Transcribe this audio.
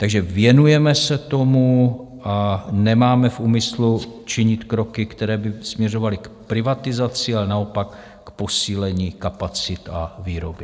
Takže věnujeme se tomu a nemáme v úmyslu činit kroky, které by směřovaly k privatizaci, ale naopak k posílení kapacit a výroby.